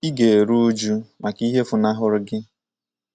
Ị ga - eru újú maka ihe funahụrụ gị